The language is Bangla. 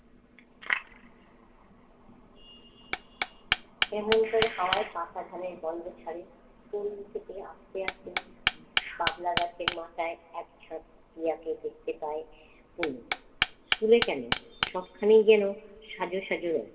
এমন করে হাওয়ায় পাকা ধানের গন্ধ ছাড়ে। স্কুল থেকে আসতে আসতে বাবলা গাছের মাথায় একঝাঁক টিয়াকে দেখতে পায় তনু। স্কুলে কেন সবখানেই যেন সাজো সাজো রূপ।